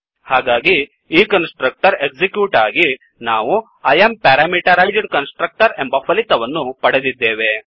ಹಾಗಾಗಿ ಈ constructor execute ಆಗಿ ನಾವು I ಎಎಂ ಪ್ಯಾರಾಮಿಟರೈಜ್ಡ್ Constructorಎಂಬ ಫಲಿತವನ್ನು ಪಡೆದಿದ್ದೇವೆ